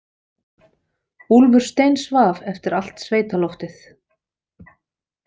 Úlfur steinsvaf eftir allt sveitaloftið.